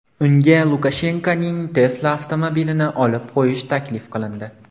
Unga Lukashenkoning Tesla avtomobilini olib qo‘yish taklif qilindi.